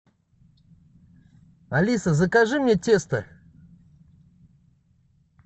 алиса закажи мне тесто